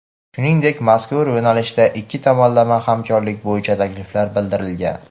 shuningdek mazkur yo‘nalishda ikki tomonlama hamkorlik bo‘yicha takliflar bildirilgan.